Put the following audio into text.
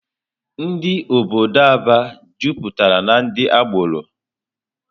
Ndụ obodo Aba jupụtara na ndị agbọrọ.